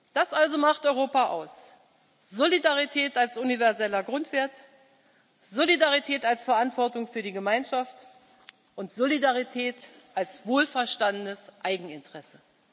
Das also macht Europa aus Solidarität als universeller Grundwert, Solidarität als Verantwortung für die Gemeinschaft und Solidarität als wohlverstandenes Eigeninteresse.